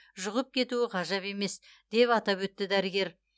жұғып кетуі ғажап емес деп атап өтті дәрігер